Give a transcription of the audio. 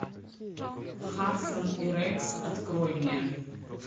хадсон и рекс открой мне